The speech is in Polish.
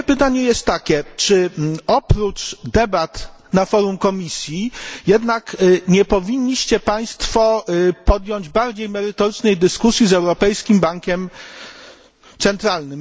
Moje pytanie jest takie czy oprócz debat na forum Komisji jednak nie powinniście Państwo podjąć bardziej merytorycznej dyskusji z Europejskim Bankiem Centralnym?